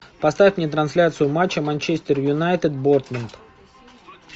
поставь мне трансляцию матча манчестер юнайтед борнмут